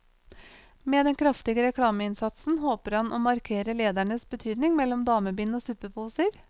Med den kraftige reklameinnsatsen håper han å markere ledernes betydning mellom damebind og suppeposer.